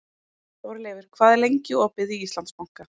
Þórleifur, hvað er lengi opið í Íslandsbanka?